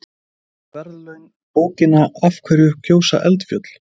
þeir fá í verðlaun bókina af hverju gjósa eldfjöll